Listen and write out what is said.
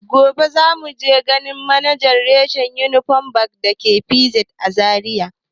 Gobe za mu tafi ganin manajan rashen Union Bank da ke PZ a Zariya.